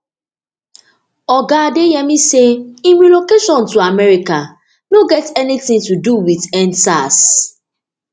oga adeyemi say im relocation to america no get anytin to do wit end sars